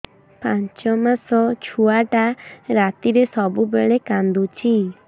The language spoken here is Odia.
ପାଞ୍ଚ ମାସ ଛୁଆଟା ରାତିରେ ସବୁବେଳେ କାନ୍ଦୁଚି